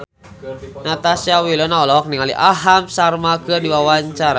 Natasha Wilona olohok ningali Aham Sharma keur diwawancara